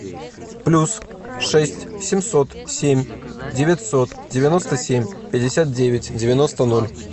плюс шесть семьсот семь девятьсот девяносто семь пятьдесят девять девяносто ноль